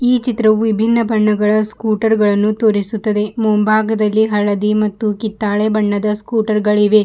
ಈ ಚಿತ್ರವು ವಿಭಿನ್ನ ಬಣ್ಣಗಳ ಸ್ಕೂಟರ್ ಗಳನ್ನು ತೋರಿಸುತ್ತದೆ ಮುಂಭಾಗದಲ್ಲಿ ಹಳದಿ ಮತ್ತು ಕಿತ್ತಾಳೆ ಬಣ್ಣದ ಸ್ಕೂಟರ್ ಗಳಿವೆ.